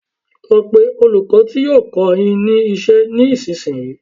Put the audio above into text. Lọ pé olùkọ́ ti yóò kọ́ọ yín ní iṣẹ́ ní ìsinsìnyí!